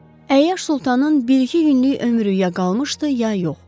Əyaş Sultanın bir-iki günlük ömrü ya qalmışdı, ya yox.